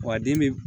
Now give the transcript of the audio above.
Wa a den bɛ